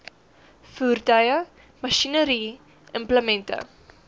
voertuie masjinerie implemente